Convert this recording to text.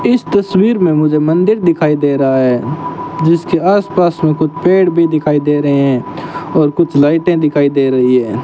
इस तस्वीर में मुझे मंदिर दिखाई दे रहा है जिसके आस पास में कुछ पेड़ भी दिखाई दे रहे हैं और कुछ लाइटें दिखाई दे रही है।